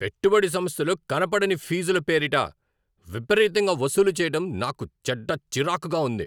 పెట్టుబడి సంస్థలు కనపడని ఫీజుల పేరిట విపరీతంగా వసూలు చేయటం నాకు చెడ్డ చిరాకుగా ఉంది.